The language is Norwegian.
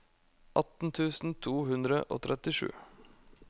atten tusen to hundre og trettisju